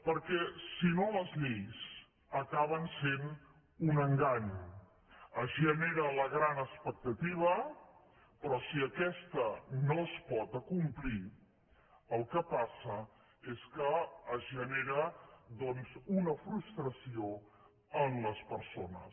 perquè si no les lleis acaben sent un engany es genera la gran expectativa però si aquesta no es pot acomplir el que passa és que es genera doncs una frustració en les persones